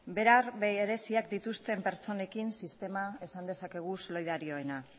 behar bereziak dituzten pertsonekin sistema esan dezakegu solidarioena